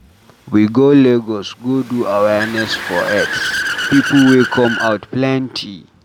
We go Lagos go do awareness for Aids. People wey come out plenty.